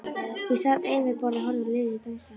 Ég sat ein við borð og horfði á liðið dansa.